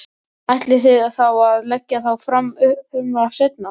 Ætlið þið þá að leggja þá fram frumvarp seinna?